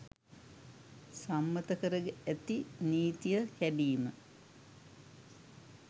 සම්මත කර ඇති නීතිය කැඩීම